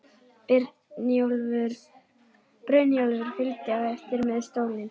Brynjólfur fylgdi á eftir með stólinn.